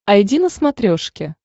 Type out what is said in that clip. айди на смотрешке